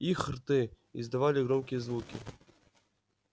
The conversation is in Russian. их рты издавали громкие звуки